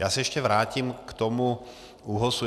Já se ještě vrátím k tomu ÚOHSu.